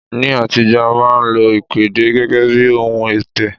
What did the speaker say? Ní àtijọ́, a máa ń lo ìpèdè gẹ́gẹ́ bí ohun ọ̀tẹ̀